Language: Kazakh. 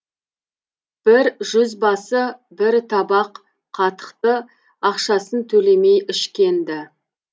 бір жүзбасы бір табақ қатықты ақшасын төлемей ішкен ді